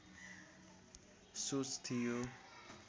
सोच थियो